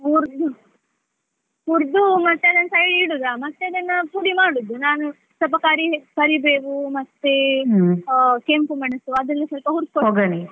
ಹುರ್ದು ಹುರ್ದು ಮತ್ತೆ ಅದನ್ನ side ಗೆ ಇಡೋದ ಮತ್ತೆ ಅದನ್ನ ಪುಡಿ ಮಾಡುದು. ನಾನು ಸ್ವಲ್ಪ ಕರಿ~ ಕರಿಬೇವು ಮತ್ತೇ ಆ ಕೆಂಪು ಮೆಣಸು ಅದೆಲ್ಲ ಸ್ವಲ್ಪ ಹುರ್ಕೊಳೋದು .